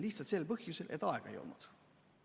Lihtsalt sel põhjusel, et aega ei olnud.